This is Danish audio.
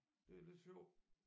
Det er lidt sjov